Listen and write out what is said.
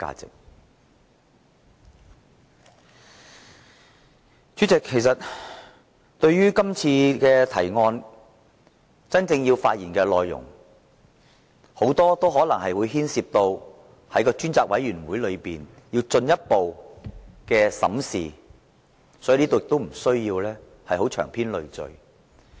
代理主席，這項議案所關乎的具體事實，很多都可能須由專責委員會進一步審視，所以我不在此長篇贅述。